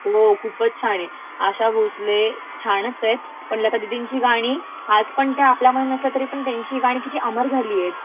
हो खूपचं छान आहेत. आशा भोसले छानच आहेत, पण लतादिदिंची गाणी आजपण त्या आपल्यामध्ये नसल्या तरीपण त्याची गाणी किती अमर झालीयत